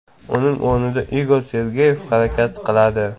Uning o‘rnida Igor Sergeyev harakat qiladi.